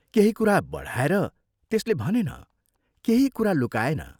केही कुरा बढाएर त्यसले भनेन केही कुरा लुकाएन।